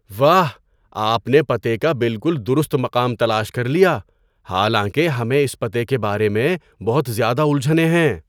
واہ! آپ نے پتے کا بالکل درست مقام تلاش کر لیا، حالانکہ ہمیں اس پتے کے بارے میں بہت زیادہ الجھنیں ہیں۔